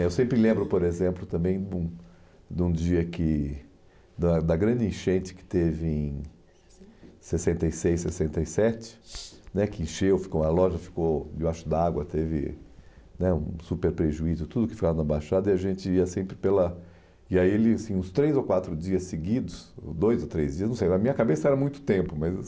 Eh eu sempre lembro, por exemplo, também de um de um dia que... Da da grande enchente que teve em sessenta e seis, sessenta e sete né, que encheu, ficou a loja ficou de baixo d'água, teve né um super prejuízo, tudo que ficava na Baixada, e a gente ia sempre pela... E aí, ele assim uns três ou quatro dias seguidos, dois ou três dias, não sei, na minha cabeça era muito tempo, mas...